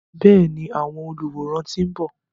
Bẹ́ẹ̀ni, àwọn olùwòran ti ń bọ̀.